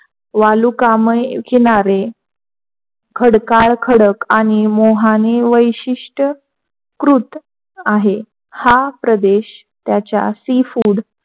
वालुकामय किनारे खडकाळ खडक आणि मोहाने वैशिष्ट्य कृत आहे. हा प्रदेश त्याच्या sea food,